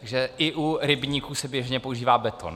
Takže i u rybníků se běžně používá beton.